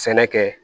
Sɛnɛ kɛ